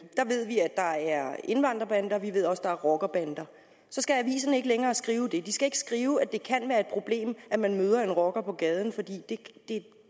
der ved vi at der er indvandrerbander og vi ved også der er rockerbander så skal aviserne ikke længere skrive det de skal ikke skrive at det kan være et problem at man møder en rocker på gaden fordi